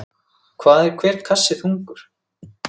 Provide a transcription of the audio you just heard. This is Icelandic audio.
Hvað er hver kassi þungur?